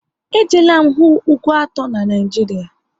E jeela m hụ ugwu atọ n'Naijiria